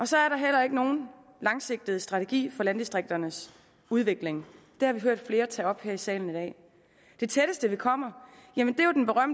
så er der heller ikke nogen langsigtet strategi for landdistrikternes udvikling det har vi hørt flere tage op her i salen i dag det tætteste vi kommer